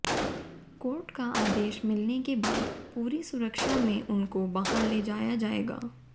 court का आदेश मिलने के बाद पूरी सुरक्षा में उनको बाहर ले जाया जाएगा